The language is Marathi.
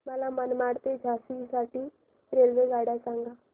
मला मनमाड ते झाशी साठी रेल्वेगाड्या सांगा